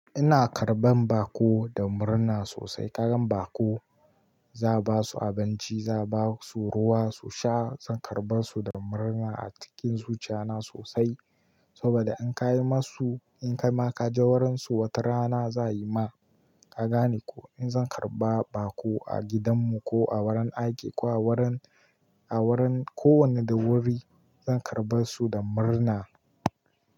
Ina karɓan baƙo da murna sosai. Kagan baƙo, za'a ba su abinci, za'a ba su ruwa su sha. Zan karɓa su da murna a cikin zuciya na sosai. Saboda in ka yi ma su, in kai ma ka je wurin su wata rana, za'a yi ma. Ka gane ko? In zan karɓa baƙo a gidan mu ko a wurin aiki ko a wurin, a wurin kowane da wuri, zan karɓa su da murna.